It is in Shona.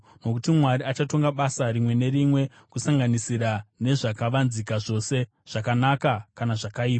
Nokuti Mwari achatonga basa rimwe nerimwe kusanganisira nezvakavanzika zvose, zvakanaka kana zvakaipa.